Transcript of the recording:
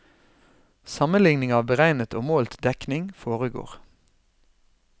Sammenligning av beregnet og målt dekning foregår.